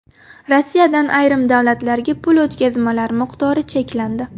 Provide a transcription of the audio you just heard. Rossiyadan ayrim davlatlarga pul o‘tkazmalari miqdori cheklandi.